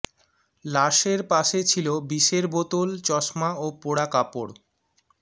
লাশের পাশে ছিল বিষের বোতল চশমা ও পোড়া কাপড়